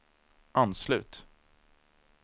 anslut